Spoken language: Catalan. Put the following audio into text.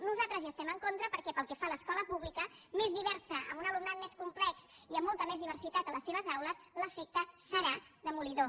nosaltres hi estem en contra perquè pel que fa a l’escola pública més diversa amb un alumnat més complex i amb molta més diversitat a les seves aules l’efecte serà demolidor